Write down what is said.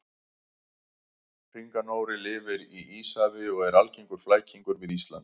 Hringanóri lifir í Íshafi og er algengur flækingur við Ísland.